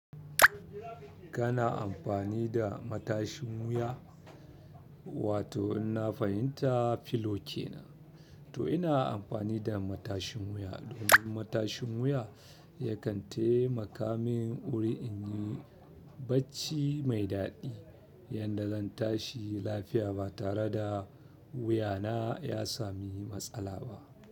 Kana amfani da matashin wuya? Wato in na fahimta filo kenan. To ina amfani da matashin wuya domin matashin wuya yakan taimaka min wurin yin bacci mai daɗi yadda zan tashi lafiya ba tare da wuyana ya sami matsala ba.